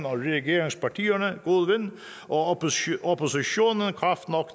regeringspartierne god vind og oppositionen kraft nok